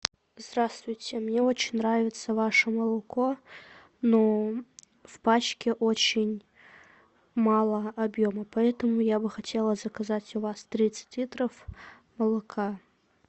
здравствуйте мне очень нравится ваше молоко но в пачке очень мало объема поэтому я бы хотела заказать у вас тридцать литров молока